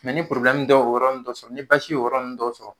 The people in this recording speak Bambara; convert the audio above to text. ni dɔ o yɔrɔ nn dɔ sɔrɔ, ni basi y'o yɔrɔ nn dɔw sɔrɔ